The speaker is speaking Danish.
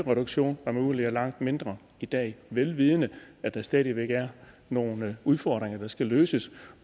reduktion og at man udvider langt mindre i dag vel vidende at der stadig væk er nogle udfordringer der skal løses